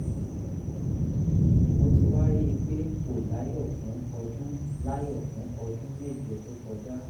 mo ti wá rí i pé n kò láyọ̀ fún ọdún láyọ̀ fún ọdún mẹ́jọ tó kọjá